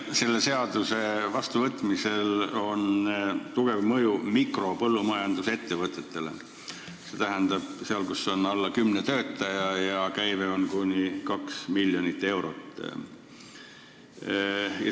Selle seaduse vastuvõtmisel on tugev mõju mikropõllumajandusettevõtetele, st neile, kus on alla kümne töötaja ja käive on kuni 2 miljonit eurot.